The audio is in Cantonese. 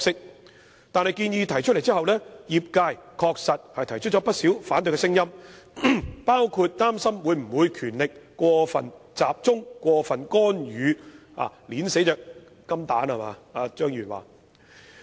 可是，當建議提出後，業界確實提出了不少反對聲音，包括擔心權力會否過分集中、會否產生過分干預，以及正如張議員所說般，會否將"金蛋"掐死。